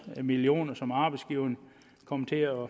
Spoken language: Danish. millioner som arbejdsgiverne kom til at